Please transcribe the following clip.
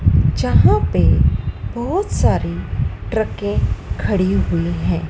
जहां पे बहोत सारी ट्रके खड़ी हुई है।